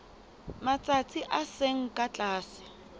matsatsi a seng ka tlase